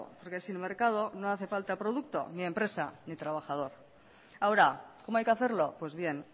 porque sin mercado no hace falta producto ni empresa ni trabajador ahora cómo hay que hacerlo pues bien